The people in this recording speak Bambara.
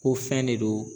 Ko fɛn de don